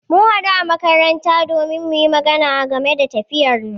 mun haɗu a makaranta don muyi magana game da tafiyarmu.